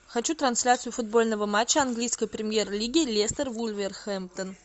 хочу трансляцию футбольного матча английской премьер лиги лестер вулверхэмптон